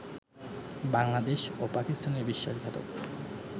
বাংলাদেশ ও পাকিস্তানের বিশ্বাসঘাতক